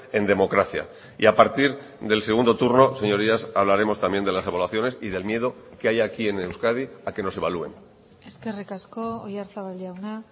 en democracia y a partir del segundo turno señorías hablaremos también de las evaluaciones y del miedo que hay aquí en euskadi a que nos evalúen eskerrik asko oyarzabal jauna